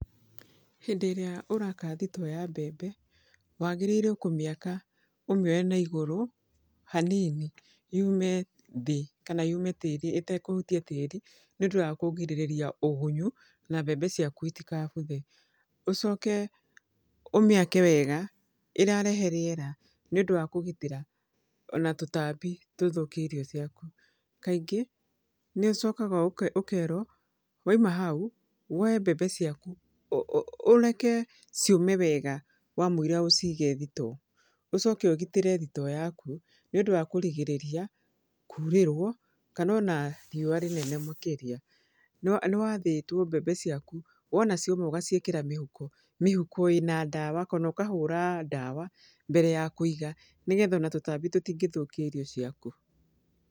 Hĩndĩ ĩrĩa ũraka thitoo ya mbembe, wagĩrĩire kũmĩaka ũmĩoye na igũrũ, hanini yume thĩ kana yume tĩri ĩtekũhutia tĩri, nĩ ũndũ wa kũgirĩrĩria ũgunyu, na mbembe ciaku itikabuthe. Ũcoke ũmĩake wega, ĩrarehe rĩera, nĩ ũndũ wa kũgitĩra ona tũtambi tũthũkie irio ciaku. Kaingĩ, nĩ ũcokaga ũkerwo, wauma hau, woe mbembe ciaku, ũreke ciũme wega wamũira ũcige thitoo. Ũcoke ũgitĩre thitoo yaku, nĩ ũndũ wa kũrigĩrĩria kuurĩrwo, kana ona riũa rĩnene makĩria. Nĩwathĩtwo mbembe ciaku, wona cioma ũgaciĩkĩra mĩhuko. Mĩhuko ĩna ndawa, kana ũkahũra ndawa mbere ya kũiga nĩgetha ona tũtambi tũtingĩthũkia irio ciaku.